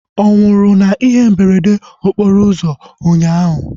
Ọ nwụrụ na ihe mberede okporo ụzọ ụnyaahụ?